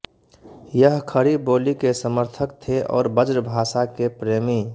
यह खड़ी बोली के समर्थक थे और ब्रजभाषा के प्रेमी